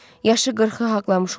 Yaşı 40-ı haqlamış olar.